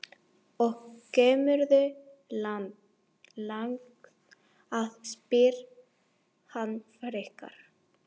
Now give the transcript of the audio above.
Og kemurðu langt að, spyr hann frekar.